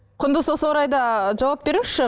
құндыз осы орайда жауап беріңізші